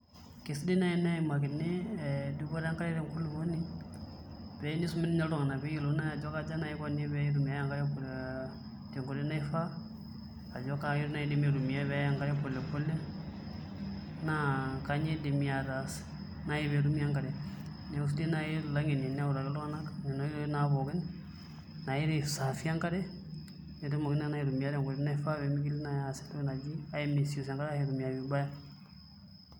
Kesidai nai eneyimakini dupoto enkare tenkulopuni pee inisumi toi ninye iltungana peeyielouni aja kaja naji iko peeitumiya enkare tenkoitoi naifaa Ajo kaitoi nai idimi aitumiya peeyae e ankare polepole naa kanyio idimi ataas peyie etumi enkare neeku sidai naa ilangeni enewutaki iltungana inkoitoi pooki nairisaafie enkare pee tumokini naa nai aitumiya tenkoitoi naifaa pee mitoki nai aitaasa entoki naji ai misuse ashu aitumiya vibaya.